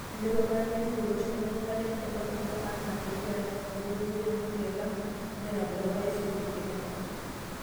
Elotu paran e Ruto olosho lenkare enkolong nabo enaa peyie elang eboloto empoti e Lamu natabolo orais Uhuru Kenyatta.